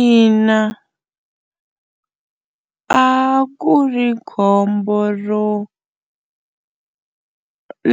Ina a ku ri khombo ro